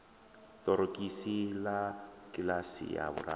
ṱorokisi ḽa kiḽasi ya vhuraru